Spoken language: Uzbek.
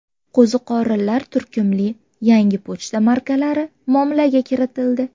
Qo‘ziqorinlar” turkumli yangi pochta markalari muomalaga kiritildi.